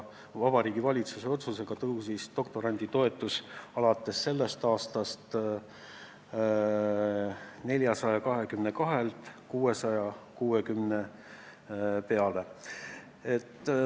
Vabariigi Valitsuse otsusega kasvas doktoranditoetus alates sellest aastast 422 eurolt 660 euro peale.